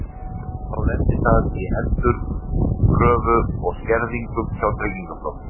Þá lendir það í endurkröfu og skerðingum hjá Tryggingastofnun.